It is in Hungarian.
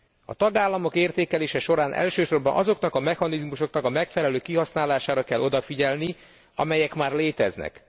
A tagállamok értékelése során elsősorban azoknak a mechanizmusoknak a megfelelő kihasználására kell odafigyelni, amelyek már léteznek.